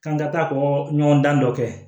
K'an ka taa kɔɲɔgɔndan dɔ kɛ